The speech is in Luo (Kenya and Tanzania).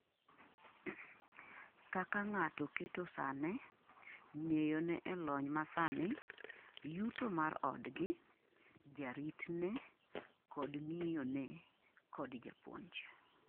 kaka ng'ato keto sane ,ng'eyo ne e lony masani, yuto mar odgi , jaritne kod ngiyo ne kod japuonj